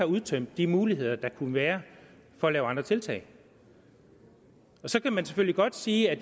udtømt de muligheder der kunne være for at lave andre tiltag så kan man selvfølgelig godt sige at